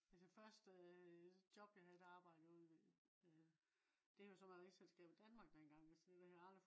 altså første øh job jeg havde der arbejde jeg ude ved øh det har jo elselskabet Danmark den gang altså det havde jeg aldrig